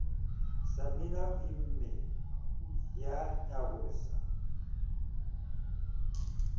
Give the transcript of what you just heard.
samina o imme ya nyarosa